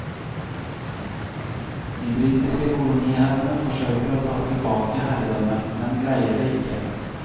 De britiske koloniherrene forsøker å ta tilbake herredømmet, men greier det ikke.